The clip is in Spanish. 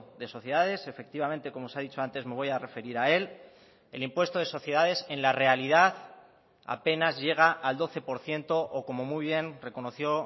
de sociedades efectivamente como se ha dicho antes me voy a referir a él el impuesto de sociedades en la realidad apenas llega al doce por ciento o como muy bien reconoció